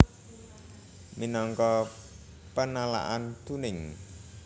Minangka penalaan tuning